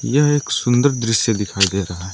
यह एक सुंदर दृश्य दिखाई दे रहा है।